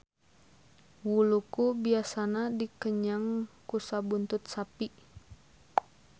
Wuluku biasana dikenyang ku sabuntut sapi.